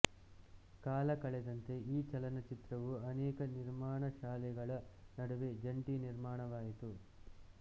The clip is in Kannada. ಕಾಲ ಕಳೆದಂತೆ ಈ ಚಲನಚಿತ್ರವು ಅನೇಕ ನಿರ್ಮಾಣಶಾಲೆಗಳ ನಡುವೆ ಜಂಟಿ ನಿರ್ಮಾಣವಾಯಿತು